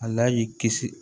Ala y'i kisi